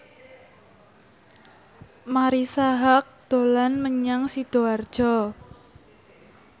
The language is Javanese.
Marisa Haque dolan menyang Sidoarjo